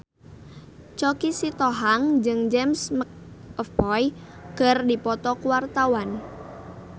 Choky Sitohang jeung James McAvoy keur dipoto ku wartawan